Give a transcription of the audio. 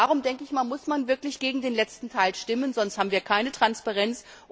Darum muss man wirklich gegen den letzten Teil stimmen, sonst haben wir keine Transparenz.